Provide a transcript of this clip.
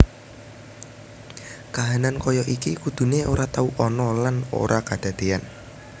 Kahanan kaya iki kudune ora tau ana lan ora kadadeyan